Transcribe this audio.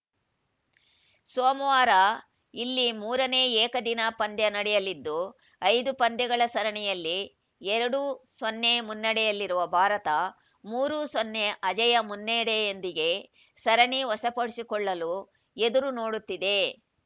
ಸೋಮವಾರ ಇಲ್ಲಿ ಮೂರನೇ ಏಕದಿನ ಪಂದ್ಯ ನಡೆಯಲಿದ್ದು ಐದು ಪಂದ್ಯಗಳ ಸರಣಿಯಲ್ಲಿ ಎರಡು ಸೊನ್ನೆ ಮುನ್ನಡೆಯಲ್ಲಿರುವ ಭಾರತ ಮೂರು ಸೊನ್ನೆ ಅಜೇಯ ಮುನ್ನಡೆಯೊಂದಿಗೆ ಸರಣಿ ವಶಪಡಿಸಿಕೊಳ್ಳಲು ಎದುರು ನೋಡುತ್ತಿದೆ